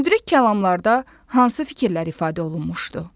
Müdrik kəlamlarda hansı fikirlər ifadə olunmuşdu?